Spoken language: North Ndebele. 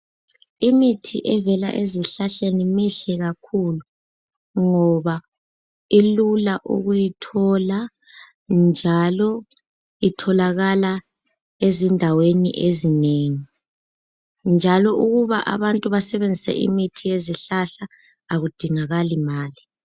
Imithi evela ezihlahleni mihle kakhulu, ngoba ilula ukuyithola njalo itholakala ezindaweni ezinengi. Njalo ukuba abantu basebenzise imithi yezihlahla akudingakali mali.